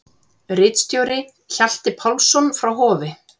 Ritstjóri: Hjalti Pálsson frá Hofi.